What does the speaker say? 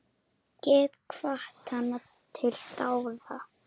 Get hvatt hana til dáða.